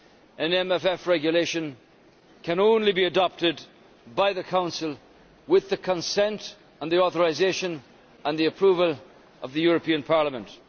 An MFF regulation can only be adopted by the Council with the consent and the authorisation and the approval of the European Parliament.